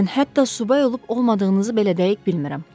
Mən hətta subay olub-olmadığınızı belə dəqiq bilmirəm.